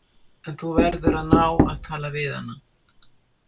En þú verður að ná að tala við hana.